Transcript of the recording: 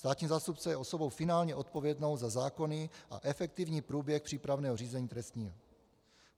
Státní zástupce je osobou finálně odpovědnou za zákonný a efektivní průběh přípravného řízení trestního.